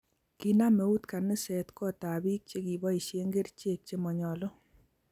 Kinam eut kaniset kot ab biik chikiboisie kerchek che manyalu